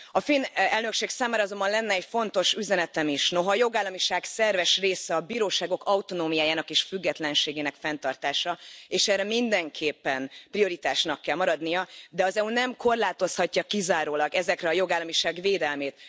A finn elnökség számára azonban lenne egy fontos üzenetem is noha a jogállamiság szerves része a bíróságok autonómiájának és függetlenségének fenntartása, és ennek mindenképpen prioritásnak kell maradnia, de az EU nem korlátozhatja kizárólag ezekre a jogállamiság védelmét.